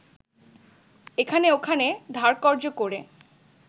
এখানে-ওখানে ধারকর্জ করে